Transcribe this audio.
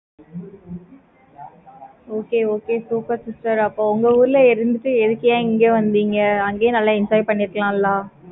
okay okay super sister அப்போ உங்க ஊர்ல இருந்துட்டு, எதுக்குய்யா இங்க வந்தீங்க? அங்கேயே நல்லா enjoy பண்ணிருக்கலாம்ல?